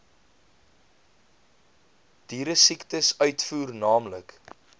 dieresiektes uitvoer naamlik